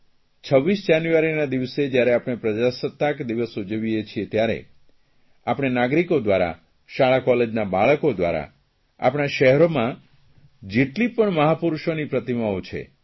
26મી જાન્યુઆરીના દિવસે જયારે આપણે પ્રજાસત્તાક દિવસ ઉજવીએ છીએ ત્યારે આપણે નાગરિકો દ્વારા શાળા કોલેજોના બાળકો દ્વારા આપણા શહેરમાં જેટલી પણ મહાપુરૂષોની પ્રતિમાઓ છે